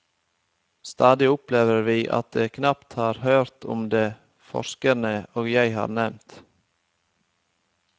Stadig opplever vi at de knapt har hørt om de forskerne jeg her har nevnt.